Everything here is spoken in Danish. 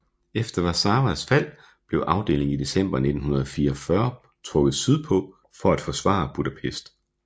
Efter Warszawas fald blev afdelingen i december 1944 trukket sydpå for at forsvare Budapest